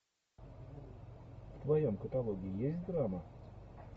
в твоем каталоге есть драма